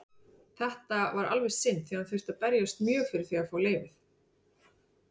Þetta var alveg synd því hann þurfti að berjast mjög fyrir því að fá leyfið.